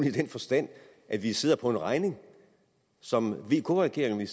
i den forstand at vi sidder på en regning som vk regeringen